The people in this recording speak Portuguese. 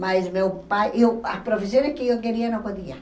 Mas meu pai... Eu a profissão que eu queria, não podia.